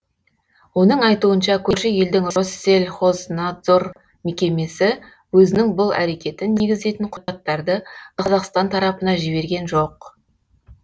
оның айтуынша көрші елдің россельхознадзор мекемесі өзінің бұл әрекетін негіздейтін құжаттарды қазақстан тарапына жіберген жоқ